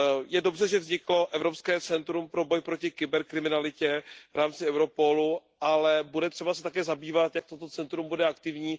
Je dobře, že vzniklo Evropské centrum pro boj proti kyberkriminalitě v rámci Europolu, ale bude třeba se také zabývat tím, jak toto centrum bude aktivní.